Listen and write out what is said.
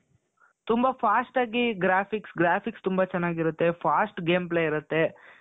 ತುಂಬಾ fastಆಗಿ graphics. Graphics ತುಂಬಾ ಚೆನ್ನಾಗಿರುತ್ತೆ, fast game play ಇರುತ್ತೆ.